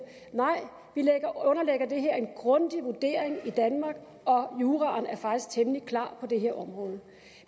her en grundig vurdering i danmark og juraen er faktisk temmelig klar på det her område